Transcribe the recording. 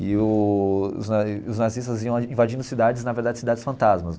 E os na os nazistas iam invadindo cidades, na verdade cidades fantasmas.